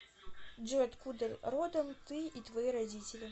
джой откуда родом ты и твои родители